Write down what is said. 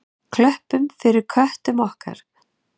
Klöppum fyrir köttum okkar!